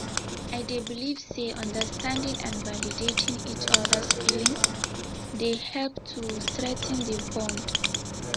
i dey believe say understanding and validating each others feelings dey help to strengthen di bond